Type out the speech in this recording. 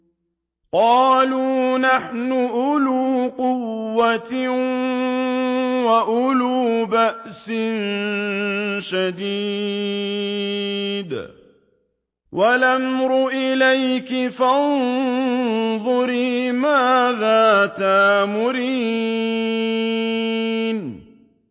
قَالُوا نَحْنُ أُولُو قُوَّةٍ وَأُولُو بَأْسٍ شَدِيدٍ وَالْأَمْرُ إِلَيْكِ فَانظُرِي مَاذَا تَأْمُرِينَ